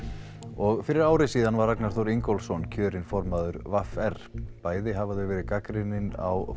og fyrir ári síðan var Ragnar Þór Ingólfsson kjörinn formaður v r bæði hafa þau verið mjög gagnrýnin á